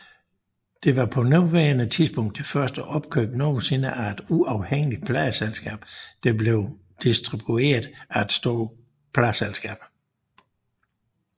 Det var på daværende tidspunkt det største opkøb nogensinde af et uafhængigt pladeselskab der blev distribueret af et stort pladeselskab